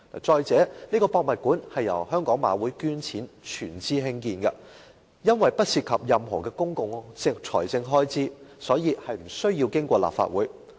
再者，這個故宮館由香港賽馬會捐錢全資興建，不涉及任何公共財政開支，所以無須經過立法會。